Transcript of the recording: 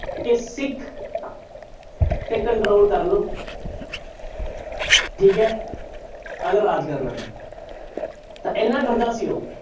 ਕਿ ਸਿੱਖ ਤੇ control ਕਰ ਲਓ ਠੀਕ ਹੈ ਅਗਰ ਰਾਜ ਕਰਨਾ ਤਾਂ ਤਾਂ ਇੰਨਾ ਡਰਦਾ ਸੀ ਉਹ।